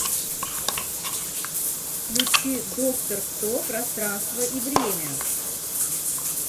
включи доктор кто пространство и время